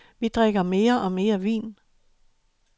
Vi drikker mere og mere vin.